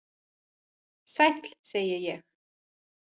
Sæll, segi ég.